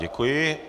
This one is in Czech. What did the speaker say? Děkuji.